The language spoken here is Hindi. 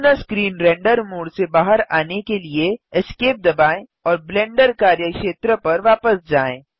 पूर्ण स्क्रीन रेंडर मोड से बाहर आने के लिए Esc दबाएँ और ब्लेंडर कार्यक्षेत्र पर वापस जाएँ